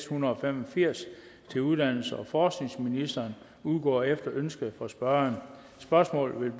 hundrede og fem og firs til uddannelses og forskningsministeren udgår efter ønske fra spørgeren spørgsmålet vil